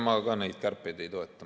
Ma ka neid kärpeid ei toeta.